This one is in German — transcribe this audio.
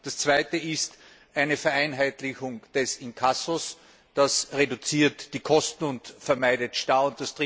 Das zweite ist eine Vereinheitlichung des Inkassos. Das reduziert die Kosten und vermeidet Staus.